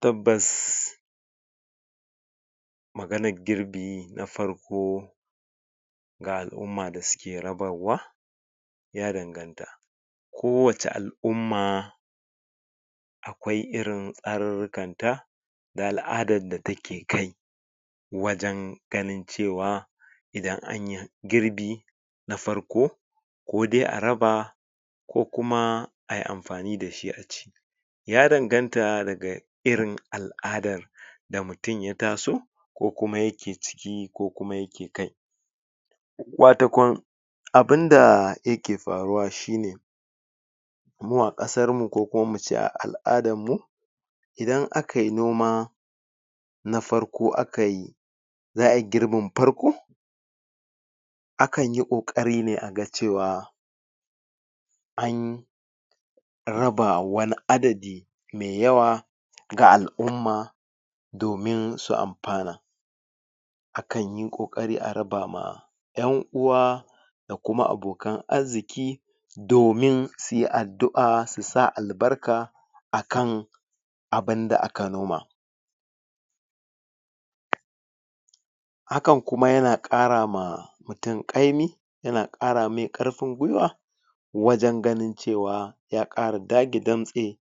Tabbas maganan girbi na farko ga al'umma da suke rabarwa ya danganta Kowacce al'umma, akwai irin tsarirrinkata da al'adar da take kai wajen ganin cewa idan anyi girbi, na farko ko dai a raba, ko kuma ai amfani da shi a ci. Ya danganta daga irin al'adar da mutum ya taso ko kuma yake ciki ko kuma yake kai. Wato kun, abunda yake faruwa shine, mu a ƙasarmu ko kuma ince a al'adarmu idan akayi noma na farko akayi za ai girbin farko, akan yi ƙoƙarine aga cewa an raba wani adadi me yawa ga al'umma, dominsu amfana, akan yi ƙoƙari a raba ma 'yan'uwa da kuma abokan arziƙi, domin suyi addu'a s sa albarka akan abunda aka noma. Hakan kuma yana ƙara ma mutum ƙaimi, yana ƙara ma mutum ƙwarin gwiwa wajen ganin cewa ya ƙara datse damtse,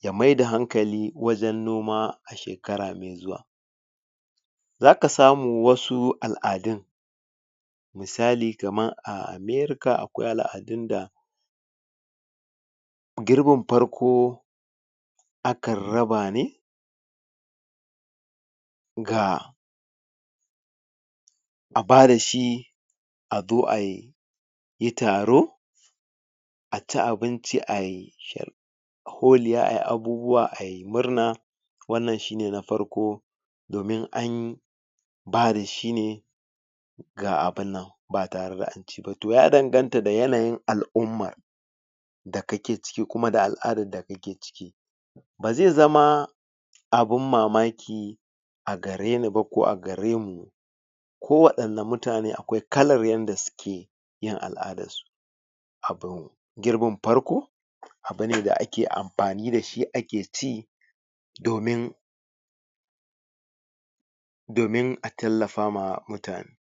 ya mai da hankali wajen noma, a shekara mai zuwa. Za ka samu wasu al'adun misali kamar a Amerika, akwai al'adun da girbin farko, akan raba ne ga a bada shi a zo ai yi taro a ci abinci ai shar.. holiya, ai abubuwa ai murna, wannan shine na farko, domin an ba da shine ga abunnan ba tare da an ci ba. To ya danganta da yanayin al'ummar da kake ciki kuma da al'adarda kake ciki. Ba zai zama abun mamaki a gareni ba ko agare mu ko wanɗanne mutane, akwai kalar yadda suke yin al'adunsu. A girbin farko, abune da ake amfani da shi ke ci, domin domin a tallafama mutane.